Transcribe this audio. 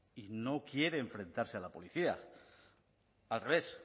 y no quiere enfrentarse a la policía al revés